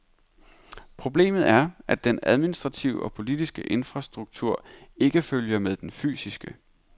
Problemet er, at den administrative og politiske infrastruktur ikke følger med den fysiske.